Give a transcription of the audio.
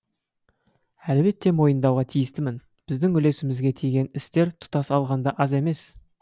әлбетте мойындауға тиістімін біздің үлесімізге тиген істер тұтас алғанда аз емес